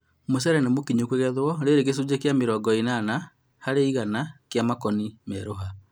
Mũcere nĩ mũkinyu kũgethwo rĩrĩ gĩcũnjĩ kĩa mĩrongo ĩnana harĩ igana kĩa makoni meruha